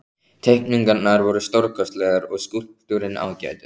Teikningarnar voru stórkostlegar og skúlptúrinn ágætur.